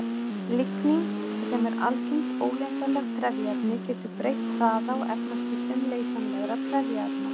Lignín, sem er algengt óleysanlegt trefjaefni, getur breytt hraða og efnaskiptum leysanlegra trefjaefna.